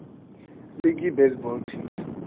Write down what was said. league baseball teams